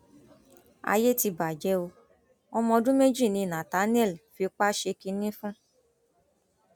ayé ti bàjẹ o ọmọ ọdún méjì ni nathanielle fipá ṣe kínní fún